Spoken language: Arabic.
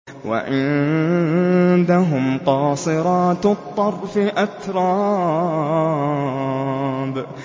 ۞ وَعِندَهُمْ قَاصِرَاتُ الطَّرْفِ أَتْرَابٌ